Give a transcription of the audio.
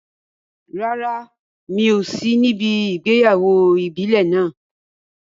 Rárá, mi ò sí níbi ìgbéyàwó ìbílẹ̀ náà.